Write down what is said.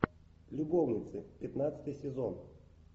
любовницы пятнадцатый сезон